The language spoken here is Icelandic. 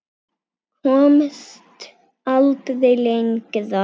Komst aldrei lengra.